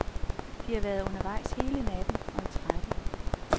De har været undervejs hele natten og er trætte.